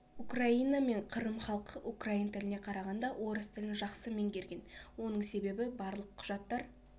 украина мен қырым халқы украин тіліне қарағанда орыс тілін жақсы меңгерген оның себебі барлық құжаттар